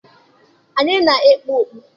Anyị na-ekpu okpu.